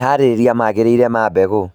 Meharĩria magĩrĩire ma mbegũ